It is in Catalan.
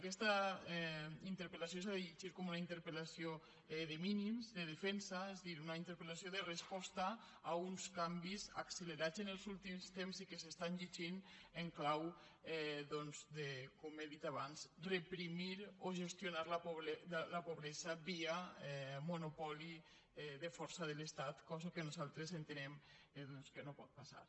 aquesta interpel·lació s’ha de llegir com una interpellació de mínims de defensa és a dir una interpel·lació de resposta a uns canvis accelerats en els últims temps i que s’estan llegint en clau doncs de com he dit abans reprimir o gestionar la pobresa via monopoli de força de l’estat cosa que nosaltres entenem doncs que no pot passar